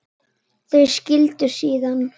Þau skildu síðan.